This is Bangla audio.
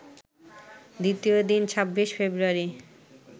দ্বিতীয় দিন ২৬ ফেব্রুয়ারি